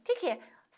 O que que é?